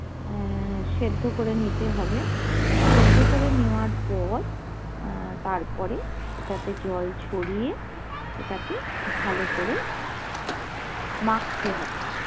আহ সেদ্ধ করে নিতে হবে সেদ্ধ করে নেয়ার পর আহ তারপরে ওটা তে জল ঝরিয়ে ওটাকে ভালো করে মাখতে হবে